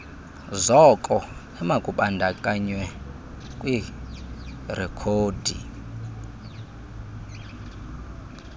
zoko emakubandakanywe kwirekhodi